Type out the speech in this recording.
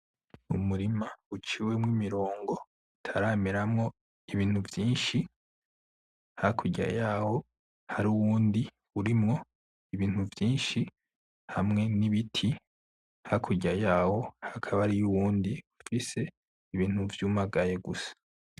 Umurima uciwemwo imirongo, utarameramwo ibintu vyinshi, hakurya yawo hari uwundi urimwo ibintu vyinshi hamwe n’ibiti, hakurya yawo hakaba hariyo uwundi ufise ibintu vyumagaye gusa.